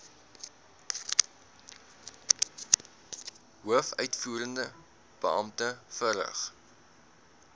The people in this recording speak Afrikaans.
hoofuitvoerende beampte verrig